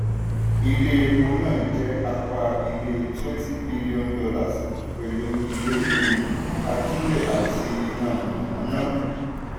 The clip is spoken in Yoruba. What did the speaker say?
ilé epo náà jẹ́ apá ilé twenty billion dollars pẹ̀lú ile um ajílẹ̀ àti iná mànàmáná.